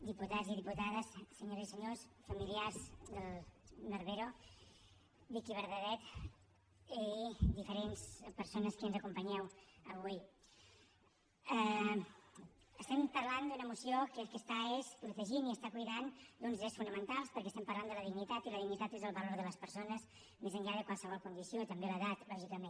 diputats i diputades senyores i senyors familiars de barbero vicki bernadet i diferents persones que ens acompanyeu avui estem parlant d’una moció que el que està és protegint i està cuidant uns drets fonamentals perquè estem parlant de la dignitat i la dignitat és el valor de les persones més enllà de qualsevol condició també l’edat lògicament